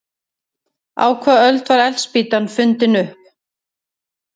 Á hvaða öld var eldspýtan fundin upp?